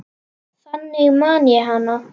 Þannig man ég hana.